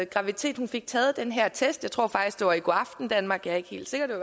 graviditet hun fik taget den her test jeg tror faktisk det var i go aften danmark jeg er ikke helt sikker det